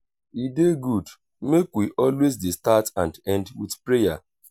e dey good make wealways dey start and end with prayer